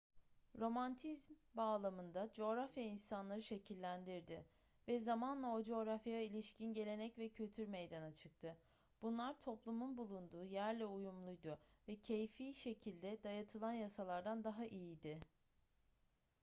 romantizm bağlamında coğrafya insanları şekillendirdi ve zamanla o coğrafyaya ilişkin gelenek ve kültür meydana çıktı bunlar toplumun bulunduğu yerle uyumluydu ve keyfi şekilde dayatılan yasalardan daha iyiydi